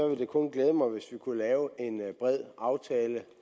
ville det kun glæde mig hvis vi kunne lave en bred aftale